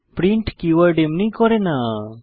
print keyword এমনি করে না